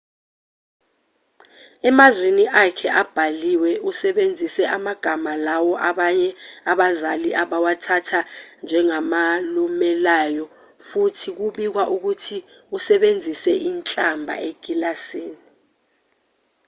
emazwini akhe abhaliwe usebenzise amagama lawo abanye abazali abawathatha njengalumelayo futhi kubikwa ukuthi usebenzise inhlamba ekilasini